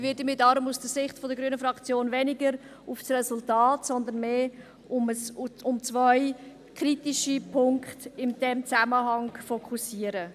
Ich werde mich darum aus der Sicht der grünen Fraktion weniger auf das Resultat, sondern mehr auf zwei kritische Punkte in diesem Zusammenhang fokussieren.